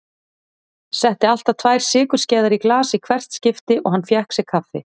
Setti alltaf tvær sykurskeiðar í glas í hvert skipti og hann fékk sér kaffi.